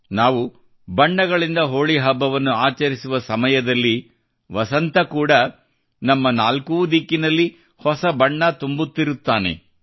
ನಾವು ಬಣ್ಣಗಳಿಂದ ಹೋಳಿ ಹಬ್ಬವನ್ನು ಆಚರಿಸುವ ಸಮಯದಲ್ಲಿ ವಸಂತ ಕೂಡಾ ನಮ್ಮ ನಾಲ್ಕೂ ದಿಕ್ಕಿನಲ್ಲಿ ಹೊಸ ಬಣ್ಣ ತುಂಬುತ್ತಿರುತ್ತಾನೆ